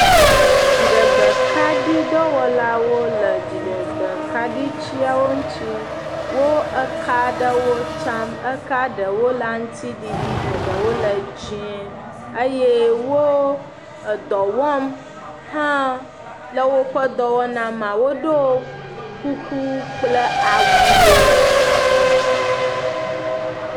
Dziɖegbekaɖidɔwɔlawo le dziɖegbekaɖitsiawo ŋuti. Wo eka aɖewo tsiam. Eka ɖewo le aŋtsiɖiɖi eɖewo le dzie eye wo edɔ wɔm hã le woƒedɔwɔna mea wodo kuku kple awuwo.